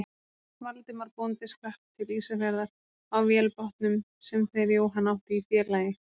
Valdimar bóndi skrapp til Ísafjarðar á vélbátnum sem þeir Jóhann áttu í félagi.